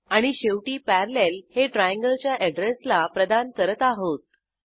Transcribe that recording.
आणि शेवटी पॅरालेल हे ट्रायंगल च्या अॅड्रेसला प्रदान करत आहोत